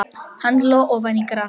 Hann hló ofan í grasið.